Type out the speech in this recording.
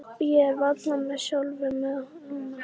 Ég er varla með sjálfum mér núna.